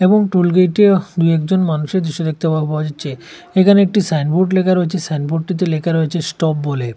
এবং টোলগেটে দুই একজন মানুষের দৃশ্য দেখতে পা পাওয়া যাচ্ছে এখানে একটি সাইনবোর্ড লেখা রয়েছে সাইনবোর্ডটিতে লেখা রয়েছে স্টপ বলে।